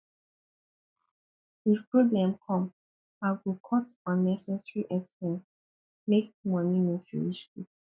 if problem come i go cut unnecessary expenses make money no finish quick